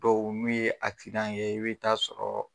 Dɔw n'u ye ye , i be taa sɔrɔ